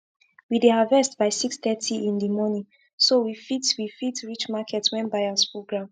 we dey harvest by 630 in di morning so we fit we fit reach market when buyers full ground